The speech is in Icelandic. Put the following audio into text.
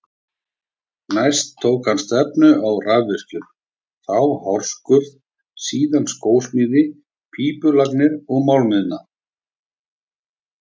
Næst tók hann stefnu á rafvirkjun, þá hárskurð, síðan skósmíðar, pípulagnir og málaraiðn.